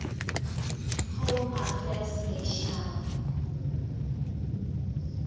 home affairs national